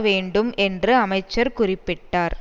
வேண்டும் என்று அமைச்சர் குறிப்பிட்டார்